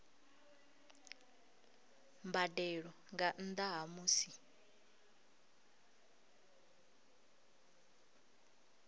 mbadelo nga nnda ha musi